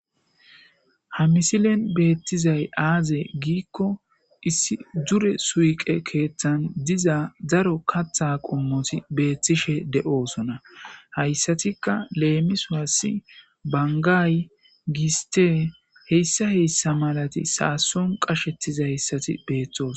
ha misilen beettizay aazee giikko issi dure suyqe keeththan diza daro katha qommoti beettishe de7oosona hayssatikka leemiswassi bangay, gistey hessa hessa malati saason qashettizayssati beethtoosona